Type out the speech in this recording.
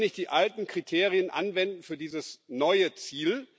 Wir können nicht die alten Kriterien anwenden für dieses neue Ziel.